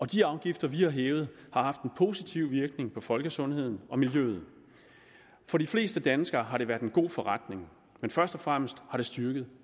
de afgifter vi har hævet har haft en positiv virkning på folkesundheden og miljøet for de fleste danskere har det været en god forretning men først og fremmest har det styrket